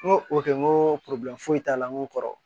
N ko o kɛ n ko foyi t'a la n ko kɔrɔ